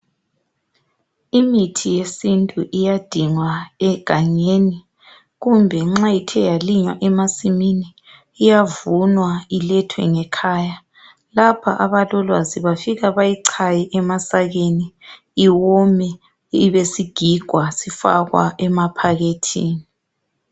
Imithi yesintu iyadingwa egangeni kumbe nxa ithe yalinywa emasimini iyavunwa ilethwe ngekhaya lapha abalolwazi bafika bayichaye emasakeni iwome ibisigigwa sifakwa emaphakethini.